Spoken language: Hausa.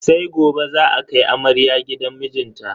Sai gobe za a kai amarya gidan mijinta.